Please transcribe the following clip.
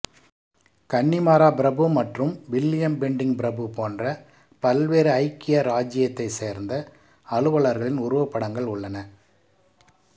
Connemara பிரபு மற்றும் William Bentinck பிரபு போன்ற பல்வேறு ஐக்கிய ராச்சியத்தைச் சேர்ந்த அலுவலர்களின் உருவப்படங்கள் உள்ளன